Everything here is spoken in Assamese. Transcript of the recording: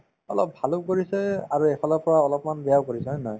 অলপ ভালো কৰিছে আৰু এফালৰ পৰা অলপমান বেয়াও কৰিছে হয় নে নহয়